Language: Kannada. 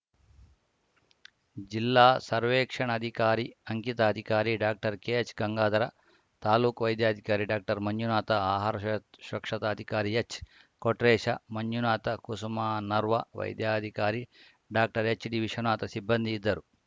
ಜಿಲ್ಲಾ ಸರ್ವೇಕ್ಷಣಾಧಿಕಾರಿ ಅಂಕಿತಾಧಿಕಾರಿ ಡಾಕ್ಟರ್ಕೆಎಚ್‌ಗಂಗಾಧರ ತಾಲೂಕು ವೈದ್ಯಾಧಿಕಾರಿ ಡಾಕ್ಟರ್ಮಂಜುನಾಥ ಆಹಾರ ಅ ಶುರಕ್ಷತಾಧಿಕಾರಿ ಎಚ್‌ಕೊಟ್ರೇಶ ಮಂಜುನಾಥ ಕುಸುಮನರ್ವ ವೈದ್ಯಾಧಿಕಾರಿ ಡಾಕ್ಟರ್ಎಚ್‌ಡಿವಿಶ್ವನಾಥ ಸಿಬ್ಬಂದಿ ಇದ್ದರು